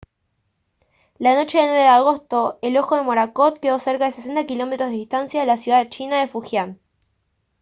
la noche del 9 de agosto el ojo de morakot quedó a cerca de 60 km de distancia de la ciudad china de fujian